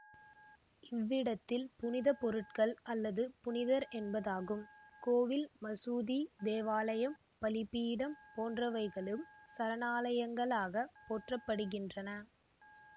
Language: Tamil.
இவ்விடத்தில் புனித பொருட்கள் அல்லது புனிதர் என்பதாகும் கோவில் மசூதி தேவாலயம் பலிபீடம் போன்றவைகளும் சரணாலயங்களாகப் போற்றப்படுகின்றன